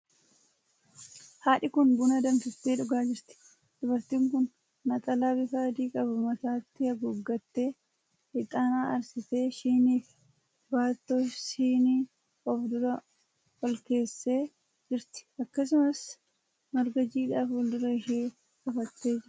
Haadhi kun buna danfiftee dhugaa jirti. Dubartiin kun naxalaa bifa adii qabu mataatti haguuggattee, hixaana aarsitee shinii fi baattoo shinii of dura olkeessee jirti. Akkasumas marga jiidhaa fuuldura ishee afattee jirti.